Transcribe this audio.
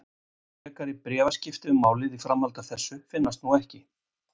Frekari bréfaskipti um málið í framhaldi af þessu finnast nú ekki.